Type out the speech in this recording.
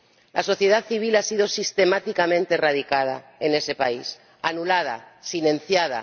La sociedad civil ha sido sistemáticamente erradicada en ese país, anulada, silenciada